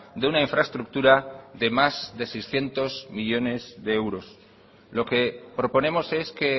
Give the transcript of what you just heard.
de una infraestructura de más de seiscientos millónes de euros lo que proponemos es que